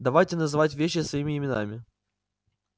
давайте называть вещи своими именами